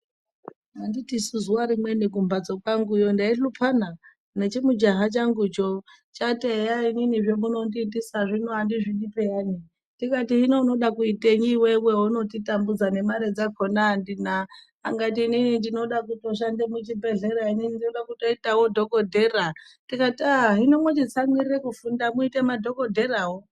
Anditisu zuwa rimweni kumhatso kwangu yo ndaihluphana nechimujaha changucho chati eya inini zvamunondiitisa zvino andizvidi pheyani. Ndikati zvino unoda kuitenyi iwewe zvounonditambudza nemare dzakhona andina. Akati inini ndinoda kushanda muchibhedhlera. Ndoda kutoitawo dhokodhera. Ndikati aaa hino mochitsamwirira kufunda muite madhokodherawo.